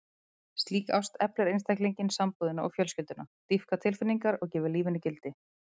Slík ást eflir einstaklinginn, sambúðina og fjölskylduna, dýpkar tilfinningar og gefur lífinu gildi.